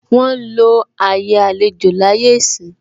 Wọn ń lo àyè àlejò láyé ìsín.